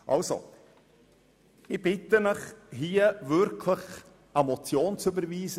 Also, ich bitte Sie, den Vorstoss wirklich als Motion zu überweisen.